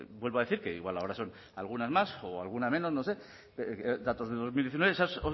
vuelvo a decir que igual ahora son algunas más o alguna menos no sédatos de dos mil diecinueve esas